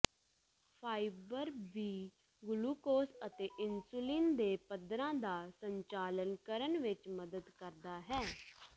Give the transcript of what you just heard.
fibre ਵੀ glucose ਅਤੇ insulin ਦੇ ਪੱਧਰਾਂ ਦਾ ਸੰਚਾਲਨ ਕਰਨ ਵਿੱਚ ਮਦਦ ਕਰਦਾ ਹੈ